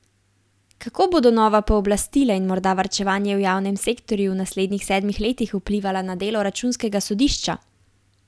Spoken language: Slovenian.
Kako bodo nova pooblastila in morda varčevanje v javnem sektorju v naslednjih sedmih letih vplivala na delo računskega sodišča?